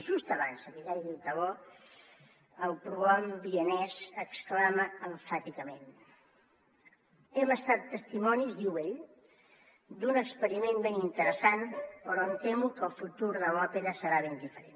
just abans de que caigui el teló el prohom vienès exclama emfàticament hem estat testimonis diu ell d’un experiment ben interessant però em temo que el futur de l’òpera serà ben diferent